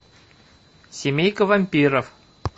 семейка вампиров